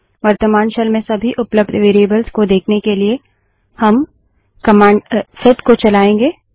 वर्त्तमान शेल में सभी उपलब्ध वेरिएबल्स को देखने के लिए हम कमांड सेट को चलायेंगे